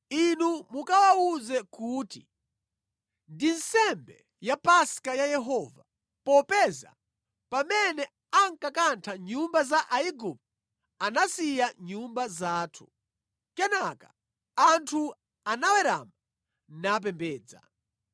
Inu mukawawuze kuti, ‘Ndi nsembe ya Paska ya Yehova, popeza pamene ankakantha nyumba za Aigupto anasiya nyumba zathu.’ ” Kenaka anthu anawerama napembedza.